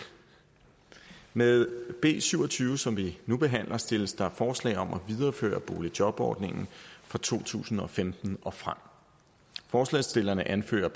med b syv og tyve som vi nu behandler stilles der forslag om at videreføre boligjobordningen fra to tusind og femten og frem forslagsstillerne anfører